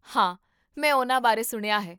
ਹਾਂ, ਮੈਂ ਉਨ੍ਹਾਂ ਬਾਰੇ ਸੁਣਿਆ ਹੈ